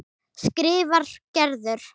skrifar Gerður.